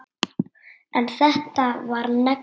En þetta var negla.